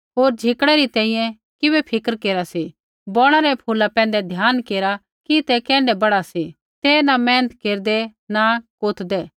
होर झिकड़ै री तैंईंयैं किबै फ़िक्र केरा सी बौणा रै फूला पैंधै ध्यान केरा कि ते कैण्ढै बड़ा सी ते न मेहनत केरदै न कोतदै